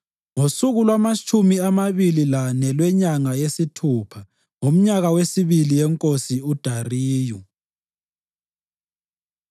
ngosuku lwamatshumi amabili lane lwenyanga yesithupha ngomnyaka wesibili wenkosi uDariyu.